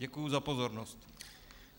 Děkuji za pozornost.